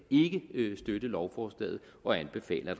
støtte lovforslaget og anbefaler